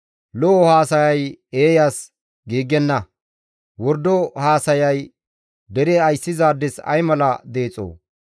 Lo7o haasayay eeyas giigenna; wordo haasayay dere ayssizaades ay mala deexo!